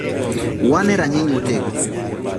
“Wan e rang’iny motegno.”